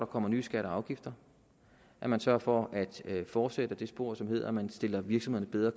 kommer nye skatter og afgifter at man sørger for at fortsætte ad det spor som hedder at man stiller virksomhederne bedre